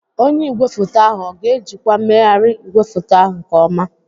Onye igwefoto ahụ ọ ga-ejikwa mmegharị igwefoto ahụ nke ọma?